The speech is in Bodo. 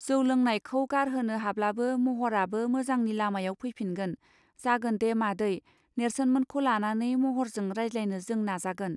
जौं लोंनायखौ गारहोनो हाब्लानो महराबो मोजांनि लामायाव फैफिनगोन जागोनदे मादै नेर्सोन मोनखौ लानानै महरजों रायज्लायनो जों नाजागोन.